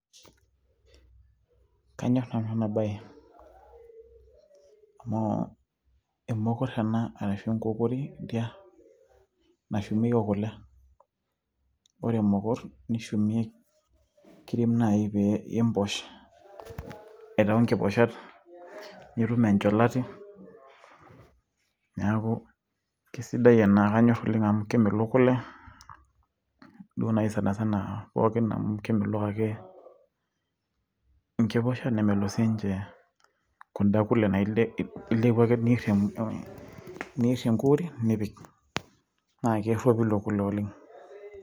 kanyor nanu ena bae amu enkokoritia ena nashumieki kule ,ore emokor naa ekiret naaji pee imposh aitau inkipooshat nitum encholati , neeku keisidai ena amu kemelok kule duo naaji sana sana amu kemelok ake inkiposha , naa kemelok ake sii niche kuda naa ilepu ake niir enkukuri nipik naa keropilu kule oleng'.